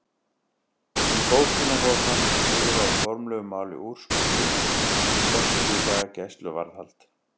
Í bókina hóf hann að skrifa á formlegu máli úrskurð sinn um sextíu daga gæsluvarðhald.